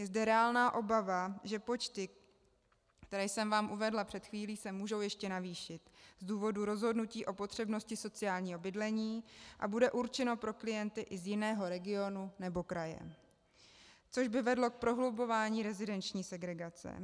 Je zde reálná obava, že počty, které jsem vám uvedla před chvílí, se můžou ještě navýšit z důvodu rozhodnutí o potřebnosti sociálního bydlení a budou určeny pro klienty i z jiného regionu nebo kraje, což by vedlo k prohlubování rezidenční segregace.